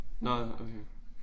Nåh okay